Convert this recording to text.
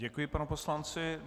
Děkuji panu poslanci.